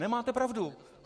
Nemáte pravdu.